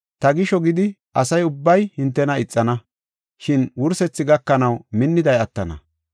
Ta gisho gidi asa ubbay hintena ixana, shin wursethi gakanaw minniday attana.